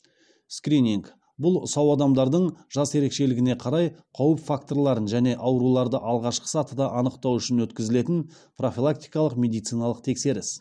скрининг бұл сау адамдардың жас ерекшелігіне қарай қауіп факторларын және ауруларды алғашқы сатыда анықтау үшін өткізілетін профилактикалық медициналық тексеріс